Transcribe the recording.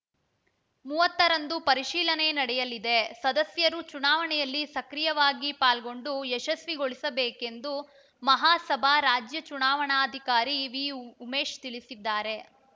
ಮೂವತ್ತರಂದು ಪರಿಶೀಲನೆ ನಡೆಯಲಿದೆ ಸದಸ್ಯರು ಚುನಾವಣೆಯಲ್ಲಿ ಸಕ್ರಿಯವಾಗಿ ಪಾಲ್ಗೊಂಡು ಯಶಸ್ವಿಗೊಳಿಸಬೇಕೆಂದು ಮಹಾಸಭಾ ರಾಜ್ಯ ಚುನಾವಣಾಧಿಕಾರಿ ವಿ ಉಮೇಶ್‌ ತಿಳಿಸಿದ್ದಾರೆ